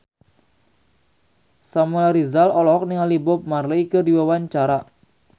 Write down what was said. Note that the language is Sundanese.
Samuel Rizal olohok ningali Bob Marley keur diwawancara